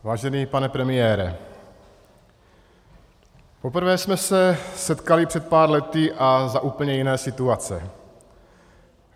Vážený pane premiére, poprvé jsme se setkali před pár lety a za úplně jiné situace.